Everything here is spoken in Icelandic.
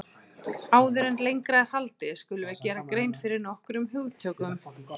Áður en lengra er haldið skulum við gera grein fyrir nokkrum hugtökum.